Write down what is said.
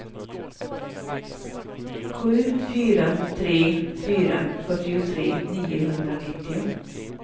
sju fyra tre fyra fyrtiotre niohundranittio